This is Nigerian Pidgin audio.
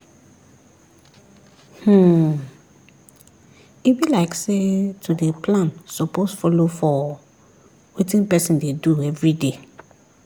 hmmm e be like say to dey plan suppose follow for wetin person dey do everyday